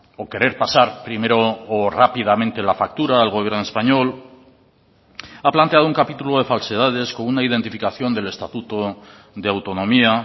o querer pasar primero o rápidamente la factura al gobierno español ha planteado un capítulo de falsedades con una identificación del estatuto de autonomía